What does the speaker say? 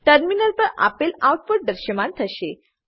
terminal પર આપેલ output દ્રશયમાન થશે